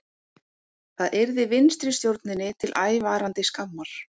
Það yrði vinstristjórninni til ævarandi skammar